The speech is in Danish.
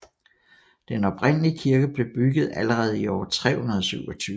Den oprindelige kirke blev bygget allerede i år 327